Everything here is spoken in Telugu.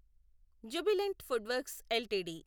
Jubilant FoodWorks LTD